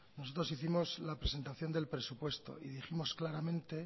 nosotros hicimos la presentación del presupuesto y dijimos claramente